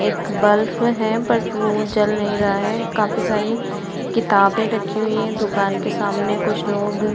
एक बल्ब है बट वो जल नहीं रहा है काफ़ी सारी किताबे रखी हुई हैं। दुकान के सामने कुछ लोग --